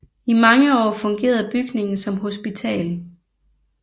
I mange år fungerede bygningen som hospital